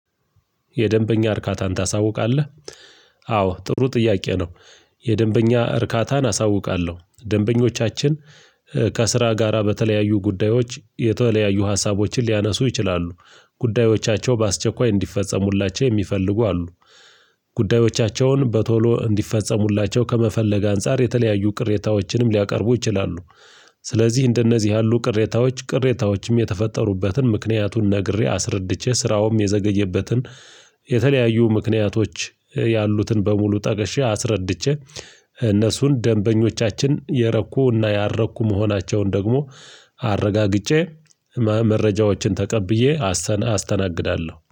የደንበኛ እርካታን ታሳውቃለህ አዎ ጥሩ ጥያቄ ነው የደንበኛ እርካታን አሳውቃለሁ ደንበኞቻችን ከስራ ጋራ በተለያዩ ጉዳዮች የተለያዩ ሀሳቦችን ሊያነሱ ይችላሉ ጉዳዮቻቸው በአስቸኳይ እንዲፈጸሙላቸው የሚፈልጉ አሉ፤ ጉዳዮቻቸውን በቶሎ እንዲፈጸሙላቸው ከመፈለግ አንፃር የተለያዩ ቅሬታዎችንም ሊያቀርቡ ይችላሉ፤ ስለዚህ እንደነዚህ ያሉ ቅሬታዎች ቅሬታዎችም የተፈጠሩበትን ምክንያቱን ነግሬ አስረድቼ ስራውም የዘገየበትን የተለያዩ ምክንያቶች ያሉትን በሙሉ ጠቅሼ አስረድቼ እነሱን ደንበኞቻችን የረኩ እና ያረኩ መሆናቸውን ደግሞ አረጋግጬ መረጃዎችን ተቀብዬ አስተናግዳለሁ።